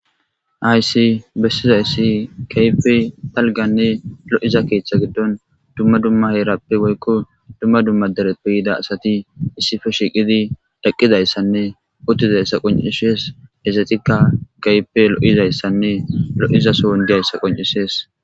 Haysi bessiza yssi kaype palganne lo7iza keeththa giddon dumma dumma heerappe woykko dumma dumma deretpe hida asati issife shiiqidi daqqidayssanne uttizayssa qoncishees ezetikka kayipe lo7izayssanne lo7izasoon diyayssa qoncisees